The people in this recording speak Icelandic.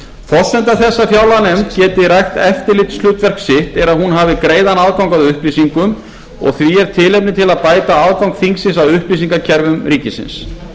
forsenda þess að fjárlaganefnd geti rækt eftirlitshlutverk sitt er að hún hafi greiðan aðgang að upplýsingum og því er tilefni til að bæta aðgang þingsins að upplýsingakerfum ríkisins og